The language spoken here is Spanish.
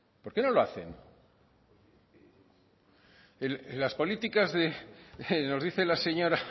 por qué no lo hacen en las políticas de nos dice la señora